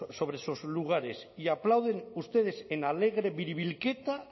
sobre esos lugares y aplauden ustedes en alegre biribilketa